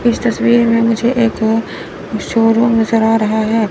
इस तस्वीर में मुझे एक शोरूम नजर आ रहा हैं।